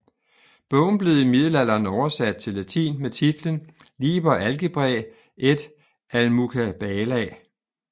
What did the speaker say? Bogen blev i middelalderen oversat til latin med titlen Liber algebrae et almucabala